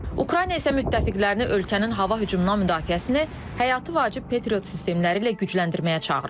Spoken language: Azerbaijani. Ukrayna isə müttəfiqlərini ölkənin hava hücumundan müdafiəsini, həyati vacib Patriot sistemləri ilə gücləndirməyə çağırıb.